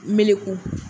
Melekun